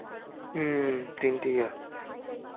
হম তিনটে year